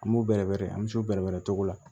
An b'u bɛrɛbɛrɛ an bɛ s'u bɛrɛbɛrɛ cogo la